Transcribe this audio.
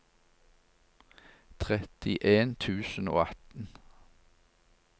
trettien tusen og atten